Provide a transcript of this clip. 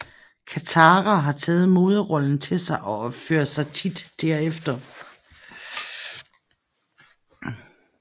Katara har taget moderrollen til sig og opfører sig tit derefter